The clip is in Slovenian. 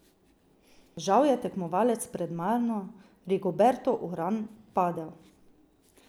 Žal je tekmovalec pred mano, Rigoberto Uran, padel.